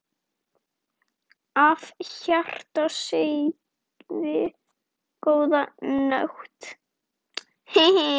Af hjarta segið: GÓÐA NÓTT.